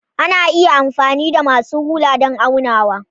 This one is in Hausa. Ana iya amfani da masu rula don aunawa.